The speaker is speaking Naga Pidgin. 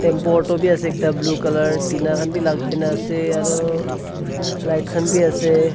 importo bhi ase ekta blue color tina khan bi lagai na ase aro light khan bi ase.